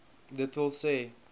d w s